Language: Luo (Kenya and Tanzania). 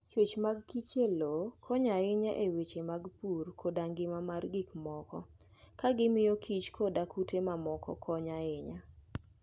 Chwech mag kich e lowo konyo ahinya e weche mag pur koda ngima mar gik moko, ka gimiyo kich koda kute mamoko konyo ahinya.